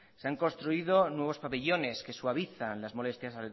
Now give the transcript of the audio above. se han construido nuevos pabellones que suavizan las molestias